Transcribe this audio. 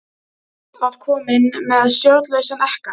Ruth var komin með stjórnlausan ekka.